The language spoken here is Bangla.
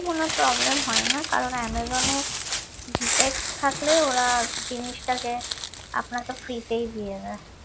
কোন problem হয় না কারণ অ্যামাজনে defect থাকলে ওরা জিনসটাকে আপনাকে free তেই দিয়ে দেয়